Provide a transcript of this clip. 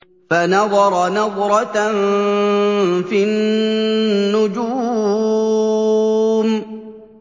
فَنَظَرَ نَظْرَةً فِي النُّجُومِ